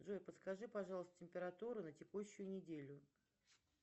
джой подскажи пожалуйста температуру на текущую неделю